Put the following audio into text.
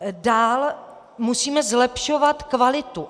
Dál musíme zlepšovat kvalitu.